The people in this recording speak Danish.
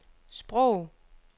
sprog